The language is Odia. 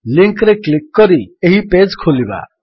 ଲିଙ୍କ୍ ରେ କ୍ଲିକ୍ କରି ଏହି ପେଜ୍ ଖୋଲିବା